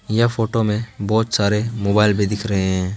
यह फोटो में बहुत सारे मोबाइल भी दिख रहे हैं।